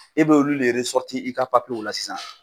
E b'olu de i ka papiyew la sisan.